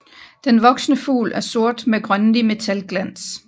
Den voksne fugl er sort med grønlig metalglans